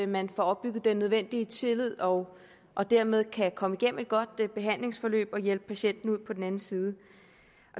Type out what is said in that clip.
man får opbygget den nødvendige tillid og og dermed kan komme igennem et godt behandlingsforløb og hjælpe patienten ud på den anden side